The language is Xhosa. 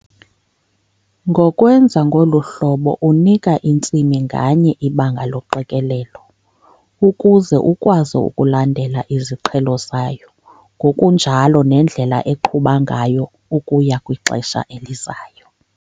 Ngokwenza ngolu hlobo unika intsimi nganye ibanga loqikelelo ukuze ukwazi ukulandela iziqhelo zayo ngokunjalo nendlela eqhuba ngayo ukuya kwixesha elizayo.